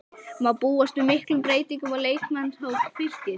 Má búast við miklum breytingum á leikmannahópi Fylkis?